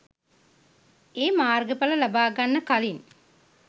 ඒ මාර්ග ඵල ලබාගන්න කලින්